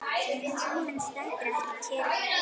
Tíminn stendur ekki kyrr.